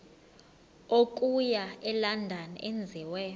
okuya elondon enziwe